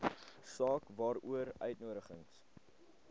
saak waaroor uitnodigings